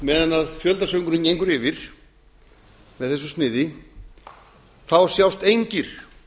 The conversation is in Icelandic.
að meðan fjöldasöngurinn gengur yfir með þessu sniði sjást engir